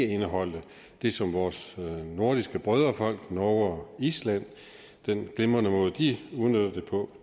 indeholde det som vores nordiske broderfolk i norge og island har den glimrende måde de udnytter